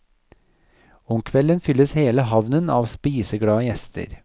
Om kvelden fylles hele havnen av spiseglade gjester.